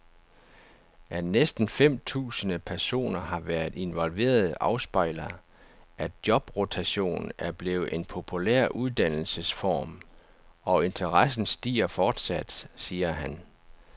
At næsten fem tusinde personer har været involveret afspejler, at jobrotation er blevet en populær uddannelsesform, og interessen stiger fortsat, siger han.